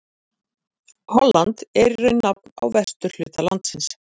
Holland er í raun nafn á vesturhluta landsins.